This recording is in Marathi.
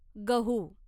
गहू